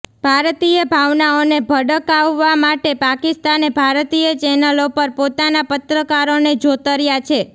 ભારતીય ભાવનાઓને ભડકાવવા માટે પાકિસ્તાને ભારતીય ચેનલો પર પોતાના પત્રકારોને જોતર્યા છે